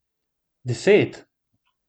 Deset?